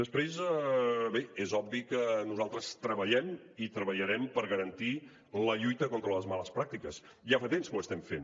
després bé és obvi que nosaltres treballem i treballarem per garantir la lluita contra les males pràctiques ja fa temps que ho estem fent